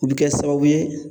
U bi kɛ sababu ye